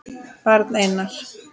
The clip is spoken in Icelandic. Barn: Einar.